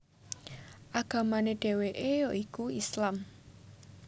Agamane dheweke ya iku Islam